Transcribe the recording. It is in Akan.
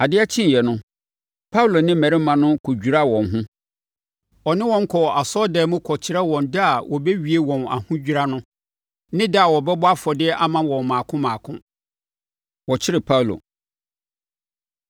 Adeɛ kyeeɛ no, Paulo ne mmarima no kɔdwiraa wɔn ho. Ɔne wɔn kɔɔ asɔredan mu kɔkyerɛɛ da a wɔbɛwie wɔn ahodwira no ne da a wɔbɛbɔ afɔdeɛ ama wɔn mmaako mmaako. Wɔkyere Paulo